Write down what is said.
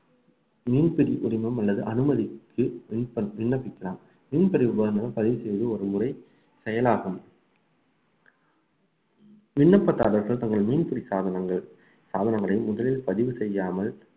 மீன்பிடி உரிமம் அல்லது அனுமதிக்கு விண்ணப்பிக்கலாம் மீன்பிடி உபகரணங்கள் பதிவு செய்து ஒருமுறை செயலாகும் விண்ணப்பதாரர்கள் தங்கள் மீன்பிடி சாதனங்கள் சாதனங்களை முதலில் பதிவு செய்யாமல்